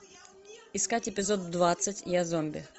искать эпизод двадцать я зомби